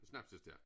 Snapsestærk